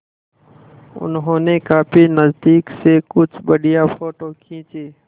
उन्होंने काफी नज़दीक से कुछ बढ़िया फ़ोटो खींचे